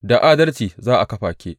Da adalci za a kafa ke.